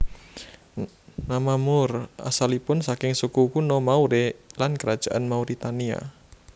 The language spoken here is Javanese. Nama Moor asalipun saking suku kuno Maure lan Kerajaan Mauritania